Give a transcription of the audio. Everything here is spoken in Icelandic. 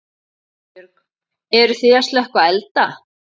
Erla Björg: Eruð þið að slökkva elda?